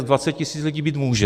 S 20 tisíc lidí být může.